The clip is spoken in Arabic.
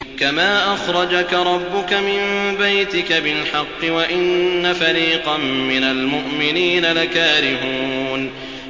كَمَا أَخْرَجَكَ رَبُّكَ مِن بَيْتِكَ بِالْحَقِّ وَإِنَّ فَرِيقًا مِّنَ الْمُؤْمِنِينَ لَكَارِهُونَ